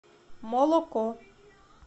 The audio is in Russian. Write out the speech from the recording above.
молоко